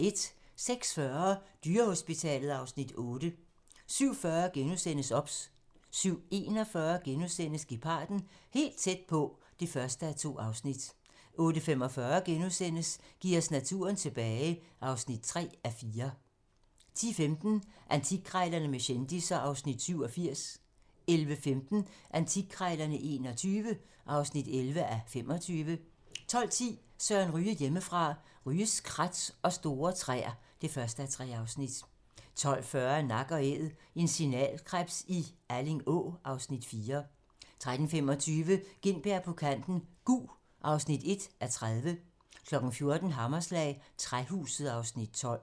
06:40: Dyrehospitalet (Afs. 8) 07:40: OBS * 07:41: Geparden - helt tæt på (1:2)* 08:45: Giv os naturen tilbage (3:4)* 10:15: Antikkrejlerne med kendisser (Afs. 87) 11:15: Antikkrejlerne XXI (11:25) 12:10: Søren Ryge: Hjemmefra - Ryges krat og store træer (1:3) 12:40: Nak & æd - en signalkrebs i Alling Å (Afs. 4) 13:25: Gintberg på kanten - Gug (1:30) 14:00: Hammerslag - Træhuset (Afs. 12)